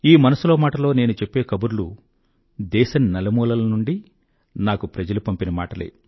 ఈ మనసులో మాటలో నేను చెప్పే కబుర్లు దేశం నలుమూలల నుండీ నాకు ప్రజలు పంపిన మాటలే